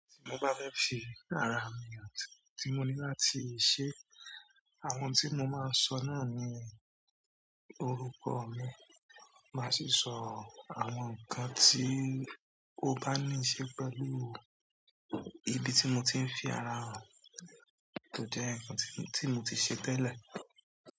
Tí mo bá fẹ́ fi ara mi àti ohun tí mo ní láti ṣé, àwọn tí mo máa ń sọ náà ni orúkọ mi. Màá sì sọ àwọn ǹkan tí ó bá níí ṣe pẹ̀lú ibi tí mo ti ń fi ara hàn tó jẹ́ ǹkan tí mo ti ṣe tẹ́lẹ̀.